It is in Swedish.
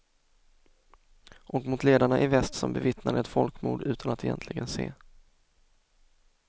Och mot ledarna i väst som bevittnade ett folkmord utan att egentligen se.